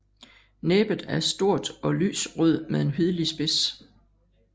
Næbet er stort og lys rød med en hvidlig spids